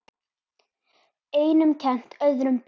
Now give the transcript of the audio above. Einum kennt, öðrum bent.